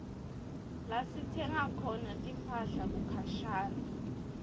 lasitsenga khona timphahla kukhashane